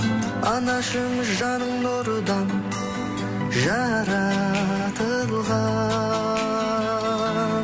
анашым жаның нұрдан жаратылған